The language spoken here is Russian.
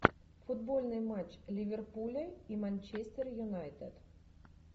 футбольный матч ливерпуля и манчестер юнайтед